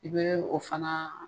I bɛ o fana